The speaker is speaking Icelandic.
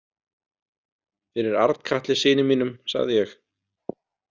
Fyrir Arnkatli syni mínum, sagði ég.